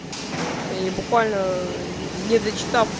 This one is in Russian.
и буквально не дочитав